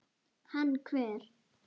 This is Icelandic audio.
Hann hver?